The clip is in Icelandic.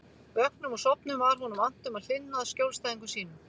Vöknum og sofnum var honum annt um að hlynna að skjólstæðingum sínum.